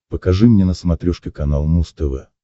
покажи мне на смотрешке канал муз тв